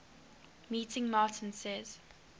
meeting martin says